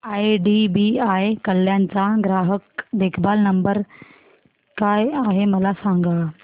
IDBI Kalyan चा ग्राहक देखभाल नंबर काय आहे मला सांगा